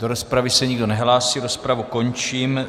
Do rozpravy se nikdo nehlásí, rozpravu končím.